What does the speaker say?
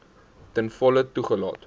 ten volle toegelaat